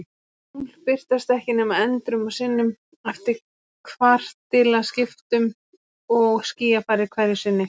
Og tungl birtast ekki nema endrum og sinnum, eftir kvartilaskiptum og skýjafari hverju sinni.